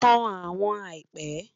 Tan awọn àìpẹ